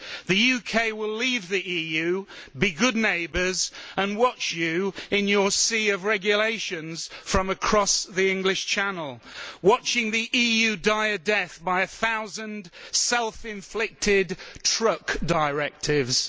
The UK will leave the EU, be good neighbours and watch you in your sea of regulations from across the English Channel, watching the EU die a death by a thousand self inflicted truck directives.